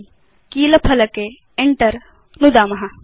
अधुना कीलफ़लके Enter नुदतु